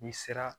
N'i sera